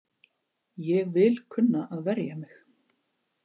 Ég vil kunna að verja mig.